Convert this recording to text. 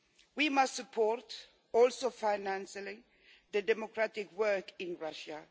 We must support, including financially, the democratic work in Russia.